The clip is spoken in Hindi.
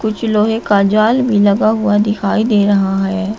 कुछ लोहे का जाल भी लगा हुआ दिखाई दे रहा है।